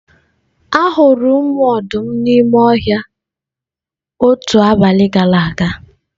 Ahụrụ ụmụ ọdụm ndị ahụ n'ime ọhịa otu abalị gara aga.